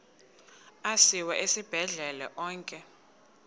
asiwa esibhedlele onke